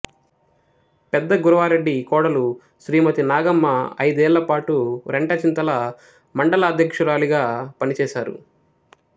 పెద్ద గురవారెడ్డి కోడలు శ్రీమతి నాగమ్మ ఐదేళ్ళపాటు రెంటచింతల మండలాధ్యక్షురాలిగా పనిచేశారు